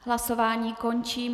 Hlasování končím.